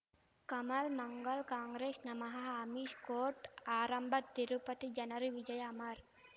ಕಮಲ್ ಮಂಗಳ್ ಕಾಂಗ್ರೆಸ್ ನಮಃ ಅಮಿಷ್ ಕೋರ್ಟ್ ಆರಂಭ ತಿರುಪತಿ ಜನರ ವಿಜಯ ಅಮರ್